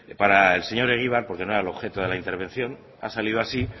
para el señor egibar porque no era el objeto de la intervención ha salido así